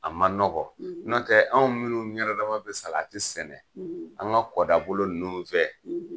A ma nɔgɔn nɔntɛ anw minnu yɛrɛdama be salati sɛnɛ, an ka kɔdabolo ninnu fɛ